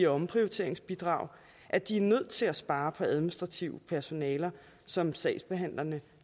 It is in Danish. omprioriteringsbidraget at de er nødt til at spare på administrativt personale som sagsbehandlerne